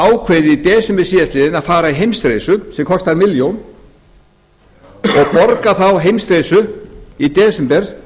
ákveðið í desember síðastliðnum að fara í heimsreisu sem kostar milljón og borga þá heimsreisu í desember